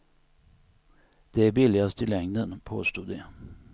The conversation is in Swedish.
De är billigast i längden, påstod de.